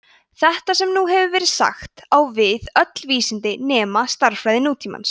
þetta sem nú hefur verið sagt á við öll vísindi nema stærðfræði nútímans